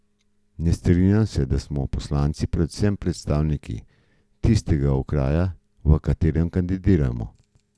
Ne strinjam se, da smo poslanci predvsem predstavniki tistega okraja, v katerem kandidiramo.